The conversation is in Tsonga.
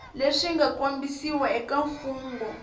leswi nga kombisiwa eka mfugnho